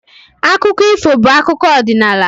Akụkọ ifo bụ akụkọ ọdịnala.